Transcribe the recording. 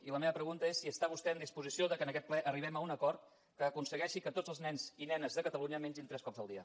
i la meva pregunta és si està vostè en disposició que en aquest ple arribem a un acord que aconsegueixi que tots els nens i nenes de catalunya mengin tres cops al dia